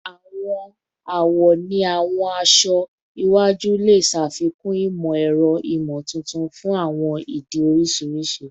Awọn awọ ni awọn aṣọ iwaju le ṣafikun imọ-ẹrọ imotuntun fun awọn idi oriṣiriṣi